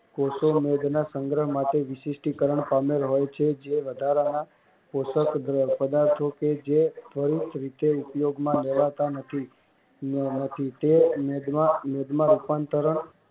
કોષો મેઘના સંગ્રહ માટે વિસિસ્ટીકરણ પામેલ હોય છે જે વધારાના પોશક પદાર્થો કે જે પારીત રીતે ઉપયોગમાં લેવાતા નથી તે મેઘમા રૂપાંતરણ